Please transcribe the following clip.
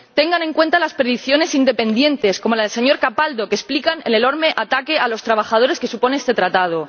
Tengan en cuenta las predicciones independientes, como la del señor Capaldo, que explican el enorme ataque a los trabajadores que supone este tratado.